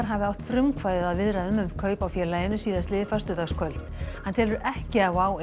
hafi átt frumkvæðið að viðræðum um kaup á félaginu síðastliðið á föstudagskvöld hann telur ekki að WOW